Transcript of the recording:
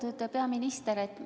Lugupeetud peaminister!